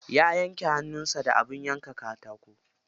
Ya yanke hannun sa da abin yanka katako.